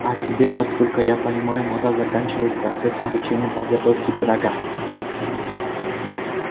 а тебе насколько я понимаю надо заканчивать процесс обучения подготовки пирога